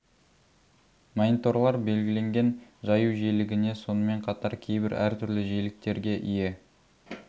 мониторлар белгіленген жаю жиілігіне сонымен қатар кейбір әр түрлі жиіліктерге ие